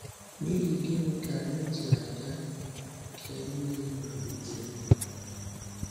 N’ihi gịnị ka anyị ji aga na nke ndị mmadụ ugboro ugboro?